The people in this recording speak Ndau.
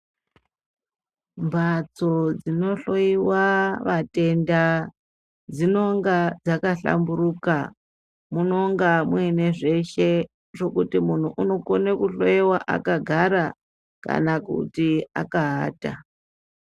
Mbadzo dzinohloyiwa vatenda dzinonga dzakahlamburuka, munonga muine zveshe zvekuti muntu unogone kuhloyiwa akagara kana kuti akaata.